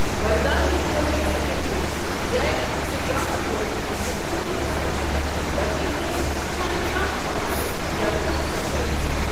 برطانوی خارجہ secretary Jack سٹراہَن ووٚن زِ کنہِ تہ قٕسمٕچہِ دہشت گردی ہنز چھَنہٕ کانٛہہ بہانہٕ یا کانٛہہ صفٲیی۔